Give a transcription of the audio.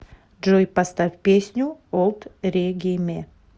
джой поставь песню олд региме